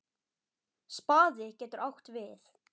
Spaði getur átt við